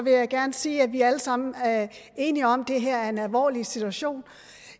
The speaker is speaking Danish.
jeg gerne sige at vi alle sammen er enige om at det her er en alvorlig situation